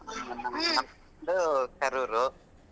ನಮ್ ಅಕ್ಕಂದು Karoor .